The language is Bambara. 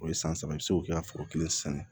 O ye san saba ye i bɛ se k'o kɛ foro kelen ye sisan